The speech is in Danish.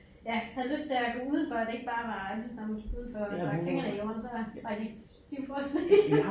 Ja havde lyst til at gå udenfor og det ikke bare var lige så snart man skulle udenfor og stak fingrene i jorden så var var de stivfrosne